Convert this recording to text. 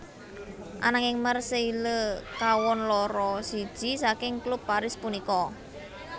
Ananging Marseille kawon loro siji saking klub Paris punika